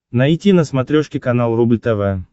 найти на смотрешке канал рубль тв